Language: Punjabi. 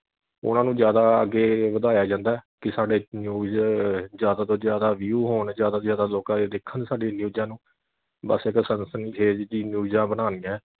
ਉਨ੍ਹਾਂ ਨੂੰ ਜਿਆਦਾ ਅੱਗੇ ਵਧਾਇਆ ਜਾਂਦਾ ਐ ਕਿ ਸਾਡੇ news ਜਿਆਦਾ ਤੋਂ ਜਿਆਦਾ view ਹੋਣ ਜਿਆਦਾ ਤੋਂ ਜਿਆਦਾ ਲੋਕਾਂ ਦੇਖਣ ਸਾਡੀਆਂ ਨਿਊਜਾਂ ਨੂੰ ਬਸ ਇਕ ਸਨਸਨੀ ਖੇਜ ਜੀ ਨਿਊਜਾਂ ਬਣਾਣੀਆਂ ਐ